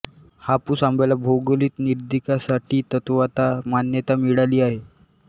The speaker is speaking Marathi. हापूस आंब्याला भौगोलिक निर्देशांकासाठी तत्वता मान्यता मिळाली आहे